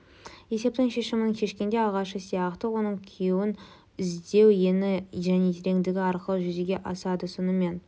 есептің шешімін шешкенде ағашы сияқты оның күйін іздеу ені және тереңдігі арқылы жүзеге асады сонымен